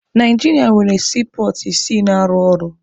Naijiria nwere siipọọtụ isii na-arụ ọrụ.